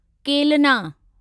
केलना